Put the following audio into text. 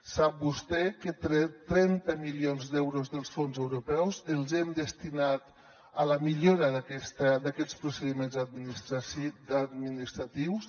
sap vostè que trenta milions d’euros dels fons europeus els hem destinat a la millora d’aquests procediments administratius